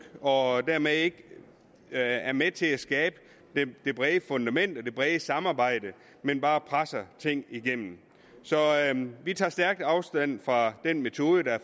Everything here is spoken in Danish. og dermed ikke er er med til at skabe det brede fundament og det brede samarbejde men bare presser tingene igennem så vi tager stærkt afstand fra den metode det her